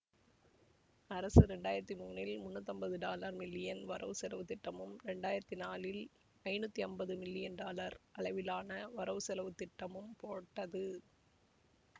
அரசு இரண்டாயிரத்தி மூன்றில் முன்னூற்றி ஐம்பது டாலர் மில்லியன் வரவு செலவு திட்டமும் இரண்டு ஆயிரத்தி நாலில் ஐநூற்றி ஐம்பது டாலர் மில்லியன் அளவிலான வரவு செலவு திட்டமும் போட்டது